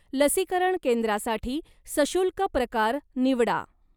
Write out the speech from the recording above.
लसीकरण केंद्रासाठी सशुल्क प्रकार निवडा.